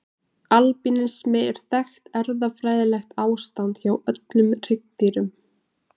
Albínismi er þekkt erfðafræðilegt ástand hjá öllum hryggdýrum.